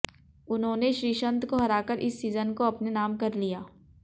उन्होंने श्रीसंत को हराकर इस सीजन को अपने नाम कर लिया